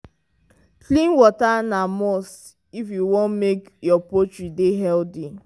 clean water na must if you want make your poultry dey healthy.